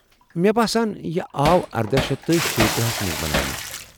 مےٚ باسان، یہِ آو اردہ شیتھ شیٖتٕرہ ہس منٛز بناونہٕ